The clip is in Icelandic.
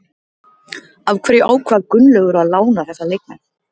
Af hverju ákvað Gunnlaugur að lána þessa leikmenn?